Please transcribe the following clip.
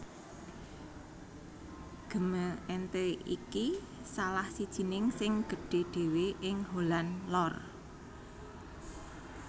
Gemeente iki salah sijining sing gedhé dhéwé ing Holland Lor